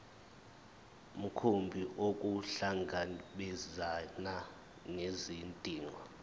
mkhumbi ukuhlangabezana nezidingo